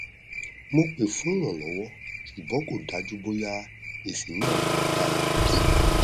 mo pè fún ìrànlọwọ ṣùgbọn kò dájú bóyá èsì náà máa dára